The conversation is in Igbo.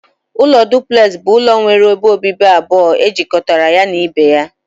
Ụlọ duplex bụ ụlọ nwere ebe obibi abụọ ejikọtara ya na ibe ya.